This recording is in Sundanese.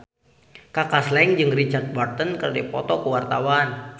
Kaka Slank jeung Richard Burton keur dipoto ku wartawan